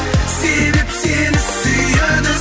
себеп сені сүйеді